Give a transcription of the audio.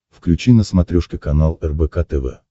включи на смотрешке канал рбк тв